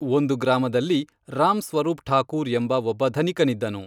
ಒಂದು ಗ್ರಾಮದಲ್ಲಿ ರಾಂಸ್ವರೂಪ್ಠಾಕೂರ್ ಎಂಬ ಒಬ್ಬ ಧನಿಕನಿದ್ದನು